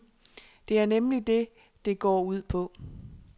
Det er nemlig det, det går ud på.